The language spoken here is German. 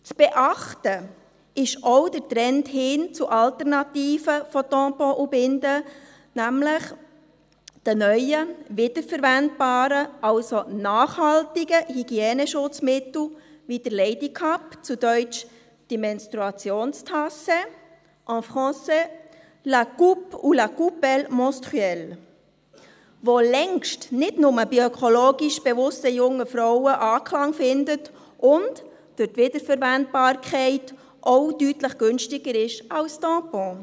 Zu beachten ist auch der Trend hin zu Alternativen zu Tampons und Binden, nämlich zu den neuen, wiederverwendbaren, also nachhaltigen Hygieneschutzmitteln, wie der Ladycup, zu Deutsch die Menstruationstasse, en français la coupe ou la coupelle menstruelle, die längst nicht nur bei ökologisch bewussten jungen Frauen Anklang findet und durch die Wiederverwendbarkeit auch deutlich günstiger ist als Tampons.